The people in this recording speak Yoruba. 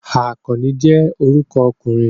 Akanni je oruko okunrin